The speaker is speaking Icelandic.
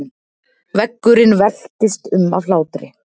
Veggurinn veltist um af hlátri.